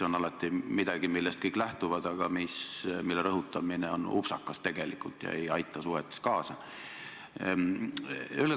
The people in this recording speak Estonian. See on midagi, millest kõik alati lähtuvad, aga mille rõhutamine tegelikult on upsakas ega aita suhetes kaasa.